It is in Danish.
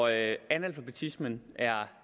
af analfabetismen er